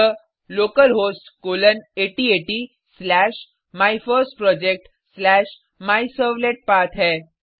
यह localhost colon 8080 slash my first project slash my servlet path है